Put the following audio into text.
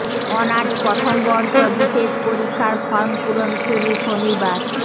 honours প্রথম বর্ষ বিশেষ পরীক্ষার ফরম পূরণ শুরু শনিবার